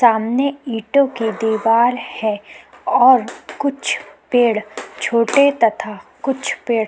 सामने इटो की दिवार है और कुछ पेड़ छोटे तथा कुछ पेड़ --